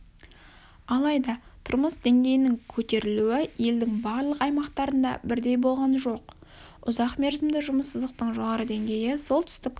алайда тұрмыс деңгейінің көтерілуі елдің барлық аймақтарында бірдей болған жоқ ұзақ мерзімді жұмыссыздықтың жоғары деңгейі солтүстік